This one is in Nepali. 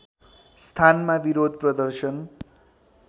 स्थानमा विरोध प्रदर्शन